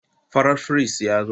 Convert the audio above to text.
Farar firist ya zo.